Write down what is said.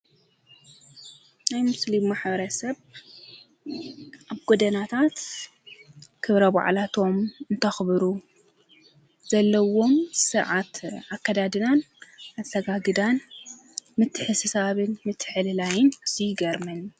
ናይ ሙስሌምሞኅበረ ሰብ ኣብ ጐደናታት ክብረ ቦዕላቶም እንተኽብሩ ዘለዎም ሥነስርዓት ኣከዳድናን ኣሰጋግዳን ምትሕስሳብን ምትሕሊላይን እዙ ይግርምን።